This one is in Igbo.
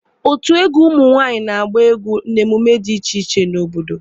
Otu egwu ụmụ nwaanyị na-agba egwu n'emume dị iche iche n'obodo.